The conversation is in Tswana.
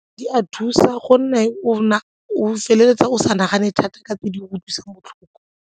Di a thusa gonne o feleletsa o sa nagane thata ka tse di utlwisang botlhoko.